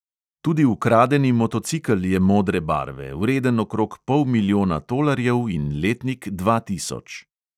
Tudi ukradeni motocikel je modre barve, vreden okrog pol milijona tolarjev in letnik dva tisoč.